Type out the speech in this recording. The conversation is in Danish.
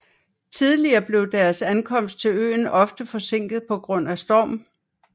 Tidligere blev deres ankomst til øen ofte forsinket på grund af storm